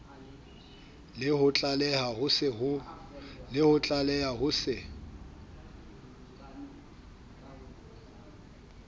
le ho tlaleha ho se